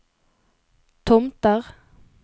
Tomter